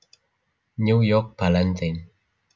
New York Ballantine